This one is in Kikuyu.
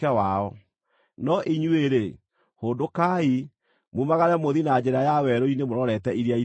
No inyuĩ-rĩ, hũndũkai, mumagare mũthiĩ na njĩra ya werũ-inĩ mũrorete Iria Itune.”